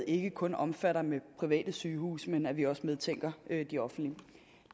ikke kun omfatter private sygehuse men at vi også medtænker de offentlige